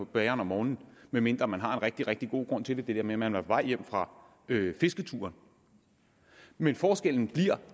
bageren om morgenen medmindre man har en rigtig rigtig god grund til det det der med at man er vej hjem fra fisketur men forskellen